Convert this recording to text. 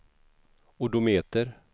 odometer